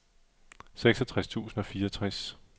seksogtres tusind og fireogtres